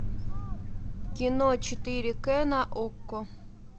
кино четыре к на окко